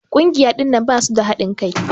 Kungiya ɗinnan basu da hadin Kai.